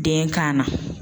Den ka na